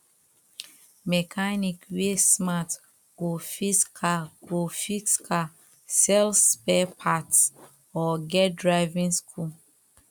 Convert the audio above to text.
mechanic wey smart go fix car go fix car sell spare parts or get driving school